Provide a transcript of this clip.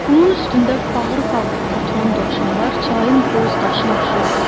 Qumun üstündə fağır-fağır oturan dovşanlar çayın boz qarşısına oxşuyurdu.